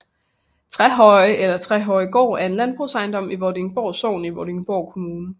Trehøje eller Trehøjegård er en landbrugsejendom i Vordingborg Sogn i Vordingborg Kommune